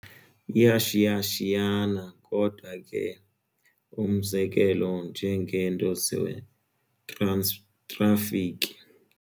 yIashiyashiyana kodwa ke umzekelo njengento ze-traffic.